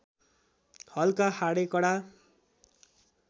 हल्का हाडे कडा